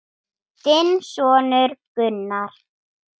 Þinn sonur, Gunnar.